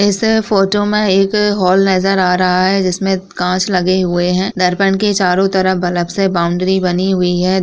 इस फोटो में एक हॉल नज़र आ रहा है जिसमे कांच लगे हुए हैं दर्पण के चारो तरफ बलब सेबाउंड्री बनी हुई है।